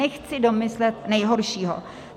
Nechci domyslet nejhoršího.